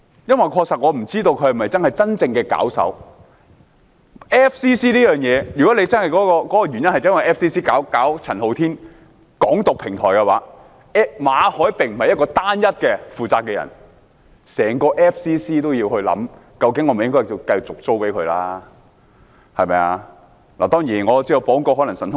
因為我確實不知道他是否真正的搞手，如果 FCC 才是真正為陳浩天提供宣揚"港獨"的平台，馬凱便不是唯一要負責的人，整個 FCC 都要思考，政府會否繼續把地方租給他們？